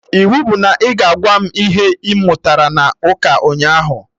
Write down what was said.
Iwu bụ na ị ga-agwa m ihe ị mụtara na ụka ụnyaahụ!